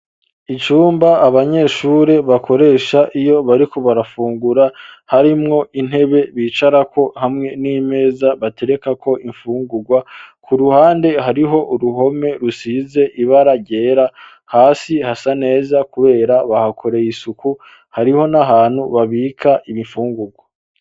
icumba abanyeshuri bakoresha iyo bariko barafungura harimwo intebe bicarako hamwe n'imeza batereka ko imfungugwa ku ruhande hariho uruhome rusize ibara ryera hasi hasa neza kubera bahakoreye isuku hariho n'ahantu babika ibifungugwa.